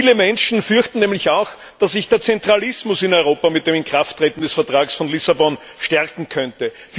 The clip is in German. Viele Menschen fürchten nämlich auch, dass sich der Zentralismus in Europa mit dem Inkrafttreten des Vertrags von Lissabon verstärken könnte.